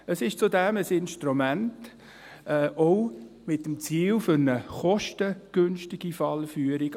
Zudem ist es auch ein Instrument mit dem Ziel einer kostengünstigen Fallführung.